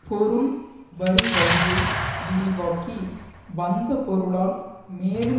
பொருள் வரும் வழியை விரிவாக்கி வந்த பொருளால் மேலும்